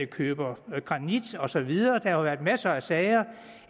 køber granit og så videre der har jo været masser af sager